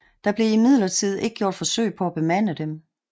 Der blev imidlertid ikke gjort forsøg på at bemande dem